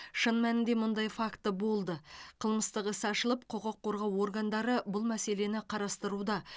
шын мәнінде мұндай факті болды қылмыстық іс ашылып құқық қорғау органдары бұл мәселені қарастыруда